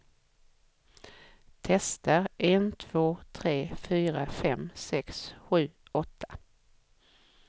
Testar en två tre fyra fem sex sju åtta.